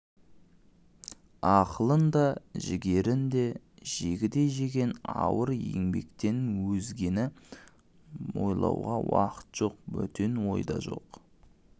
ақылын да жігерін де жегідей жеген ауыр еңбектен өзгені ойлауға уақыт жоқ бөтен ой да жок